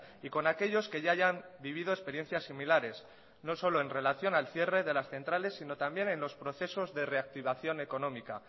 y con aquellos que ya hayan vivido experiencias similares no solo en relación al cierre de las centrales sino también en los procesos de reactivación económica